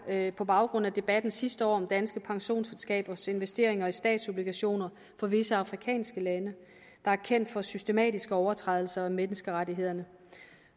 på baggrund af debatten sidste år om danske pensionsselskabers investeringer i statsobligationer fra visse afrikanske lande der er kendt for systematiske overtrædelser af menneskerettighederne